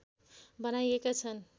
बनाइएका छन्